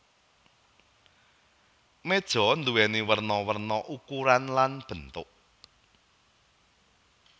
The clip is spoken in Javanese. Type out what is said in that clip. Méja nduwèni werna werna ukuran lan bentuk